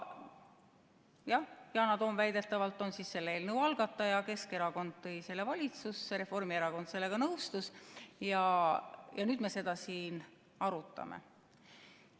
Jah, Yana Toom väidetavalt on selle eelnõu algataja, Keskerakond tõi selle valitsusse, Reformierakond sellega nõustus ja nüüd me seda siin arutame.